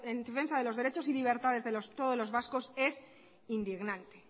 en defensa de los derechos y libertades de todos los vascos es indignante